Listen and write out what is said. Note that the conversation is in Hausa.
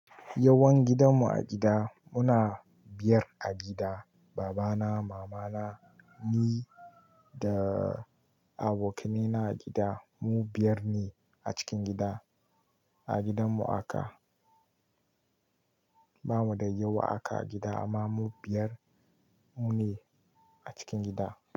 Yawan gidanmu a gida, muna biyar a gida. Baba na, mama na, ni da abokanai na a gida. Mu biyar ne a cikin gida. A gidanmu aka, bamu da yawa aka a gida amma mu biyar mu ne a cikin gida.